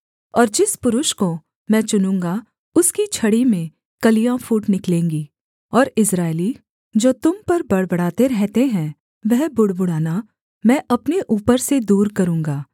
और जिस पुरुष को मैं चुनूँगा उसकी छड़ी में कलियाँ फूट निकलेंगी और इस्राएली जो तुम पर बड़बड़ाते रहते हैं वह बुड़बुड़ाना मैं अपने ऊपर से दूर करूँगा